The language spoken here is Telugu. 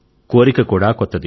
కోరిక కూడా కొత్తది